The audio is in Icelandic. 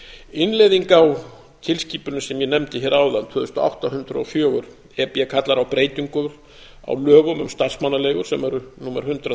innleiðing á tilskipuninni sem ég nefndi hér áðan tvö þúsund og átta hundrað og fjögur e b kallar á breytingu á lögum um starfsmannaleigur sem eru númer hundrað